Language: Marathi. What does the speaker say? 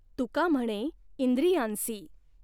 तुका ह्मणे इंिद्रयांसी।